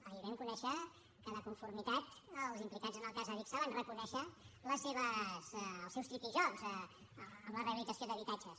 ahir vam conèixer que de conformitat els implicats en el cas adigsa van reconèixer els seus tripijocs en la rehabilitació d’habitatges